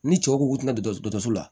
Ni cɛw ko k'u tɛ don dɔkɔtɔrɔso la